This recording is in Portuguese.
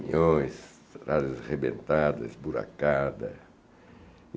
caminhões, estradas arrebentadas, buracada.